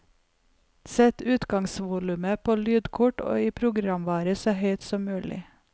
Sett utgangsvolumet på lydkort og i programvare så høyt som mulig.